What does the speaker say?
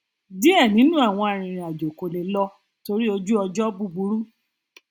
díẹ nínú àwọn arìnrìnàjò kò le lọ torí ojúọjọ búburú